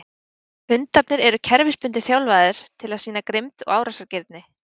Hundarnir eru kerfisbundið þjálfaðir til að sýna grimmd og árásargirni.